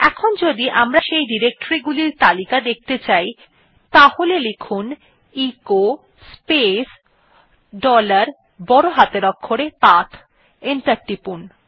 enter টিপুন